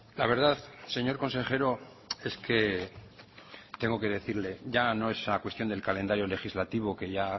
la verdad señor consejero es que tengo que decirle ya no es a cuestión del calendario legislativo que ya